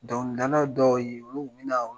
Dɔn dala dɔw ye